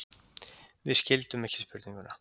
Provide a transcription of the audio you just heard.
Við skildum ekki spurninguna.